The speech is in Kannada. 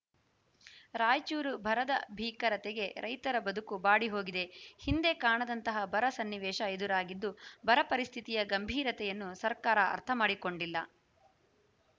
ರಾಯಚೂರು ಬರದ ಭೀಕರತೆಗೆ ರೈತರ ಬದುಕು ಬಾಡಿ ಹೋಗಿದೆ ಹಿಂದೆ ಕಾಣದಂತಹ ಬರ ಸನ್ನಿವೇಶ ಎದುರಾಗಿದ್ದು ಬರ ಪರಿಸ್ಥಿತಿಯ ಗಂಭೀರತೆಯನ್ನು ಸರ್ಕಾರ ಅರ್ಥ ಮಾಡಿಕೊಂಡಿಲ್ಲ